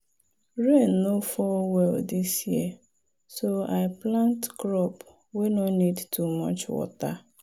rain no fall well this year so i plant crop wey no need too much water.